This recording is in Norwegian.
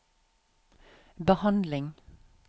behandling